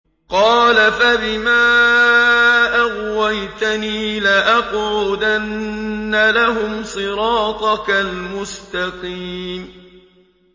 قَالَ فَبِمَا أَغْوَيْتَنِي لَأَقْعُدَنَّ لَهُمْ صِرَاطَكَ الْمُسْتَقِيمَ